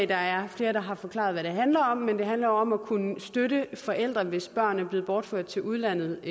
der er flere der har forklaret hvad det handler om det handler jo om at kunne støtte forældre hvis børn er blevet bortført til udlandet